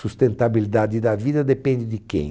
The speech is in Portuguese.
Sustentabilidade da vida depende de quem?